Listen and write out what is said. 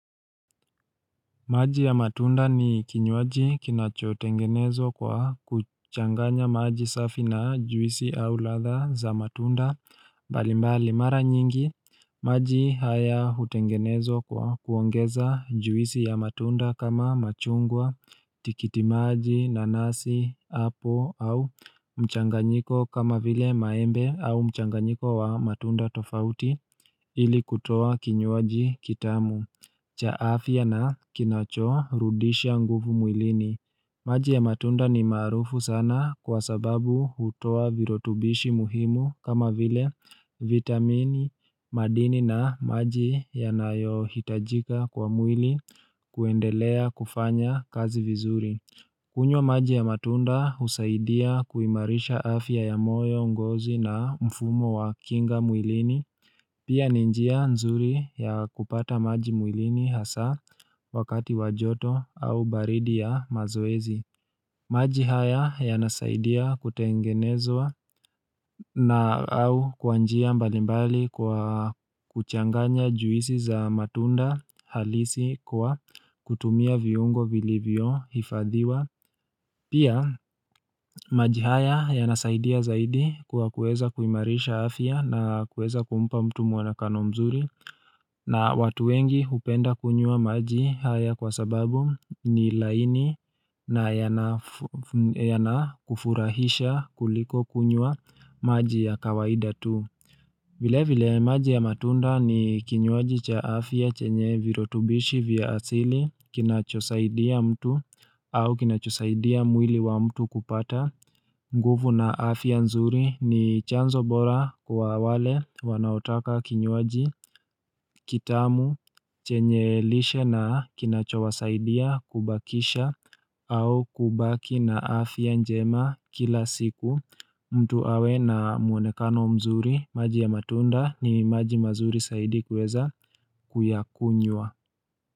Maji ya matunda ni kinywaji kinachotengenezwa kwa kuchanganya maji safi na juisi au ladha za matunda, mbalimbali mara nyingi, maji haya hutengenezwa kwa kuongeza juisi ya matunda kama machungwa, tikiti maji, nanasi, apple, au mchanganyiko kama vile maembe au mchanganyiko wa matunda tofauti ili kutoa kinywaji kitamu. Cha afya na kinacho rudisha nguvu mwilini. Maji ya matunda ni maarufu sana kwa sababu hutoa virutubishi muhimu kama vile vitamini madini na maji yanayo hitajika kwa mwili kuendelea kufanya kazi vizuri. Kunywa maji ya matunda husaidia kuimarisha afya ya moyo ngozi na mfumo wa kinga mwilini. Pia ni njia nzuri ya kupata maji mwilini hasa wakati wa joto au baridi ya mazoezi. Maji haya yanasaidia kutengenezwa na au kwa njia mbali mbali kwa kuchanganya juisi za matunda halisi kwa kutumia viungo vilivyo hifadhiwa. Pia, maji haya ya nasaidia zaidi kuwa kueza kuimarisha afya na kueza kumpa mtu muonekano mzuri na watu wengi hupenda kunywa maji haya kwa sababu ni laini na yanakufurahisha kuliko kunywa maji ya kawaida tu. Vile vile maji ya matunda ni kinywaji cha afya chenye virutubishi vya asili kinachosaidia mtu au kinachosaidia mwili wa mtu kupata. Nguvu na afya nzuri ni chanzo bora kwa wale wanaotaka kinywaji kitamu chenye lishe na kinachowasaidia kubakisha au kubaki na afya njema kila siku. Mtu awe na muonekano mzuri maji ya matunda ni maji mazuri zaidi kuweza kuyakunywa.